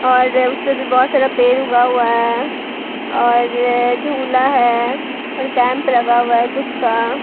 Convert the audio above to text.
और उसपे भी बहुत सारा पेर उगा हुआ है और झूला है और कैंप लगा हुआ है कुछ का।